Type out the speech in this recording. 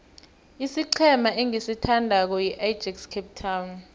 isiqhema engisithandako yiajax cape town